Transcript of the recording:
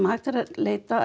hægt er að